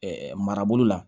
marabolo la